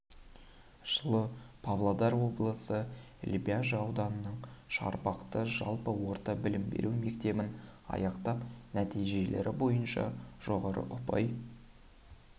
жылы павлодар облысы лебяжі ауданының шарбақты жалпы орта білім беру мектебін аяқтап нәтижелері бойынша жоғары ұпай